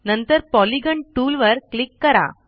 नंतर पॉलिगॉन टूलवर क्लिक करा